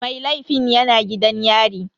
Mai laifin yana gidan yari.